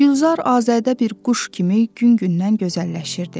Gülzar Azadə bir quş kimi gün-gündən gözəlləşirdi.